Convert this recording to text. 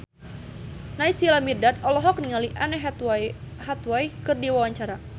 Naysila Mirdad olohok ningali Anne Hathaway keur diwawancara